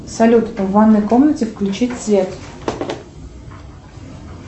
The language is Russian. салют в ванной комнате включить свет